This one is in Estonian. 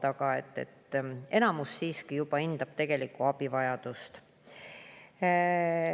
Aga enamus siiski juba hindab tegelikku abivajadust.